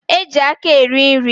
E ji aka eri nri.